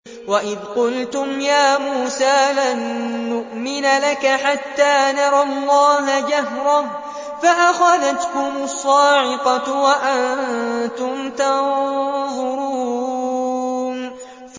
وَإِذْ قُلْتُمْ يَا مُوسَىٰ لَن نُّؤْمِنَ لَكَ حَتَّىٰ نَرَى اللَّهَ جَهْرَةً فَأَخَذَتْكُمُ الصَّاعِقَةُ وَأَنتُمْ تَنظُرُونَ